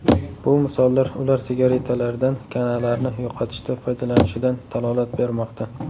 Bu misollar ular sigaretalardan kanalarni yo‘qotishda foydalanishidan dalolat bermoqda.